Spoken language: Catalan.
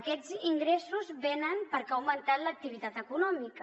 aquests ingressos venen perquè ha augmentat l’activitat econòmica